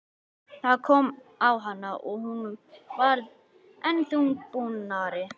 Það kom á hana og hún varð enn þungbúnari.